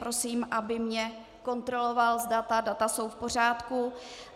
Prosím, aby mě kontroloval, zda ta data jsou v pořádku.